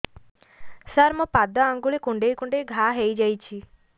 ସାର ମୋ ପାଦ ଆଙ୍ଗୁଳି କୁଣ୍ଡେଇ କୁଣ୍ଡେଇ ଘା ହେଇଯାଇଛି